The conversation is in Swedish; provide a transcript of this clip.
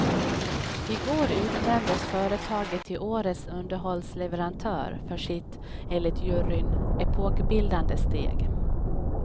I går utnämndes företaget till årets underhållsleverantör för sitt, enligt juryn, epokbildande steg.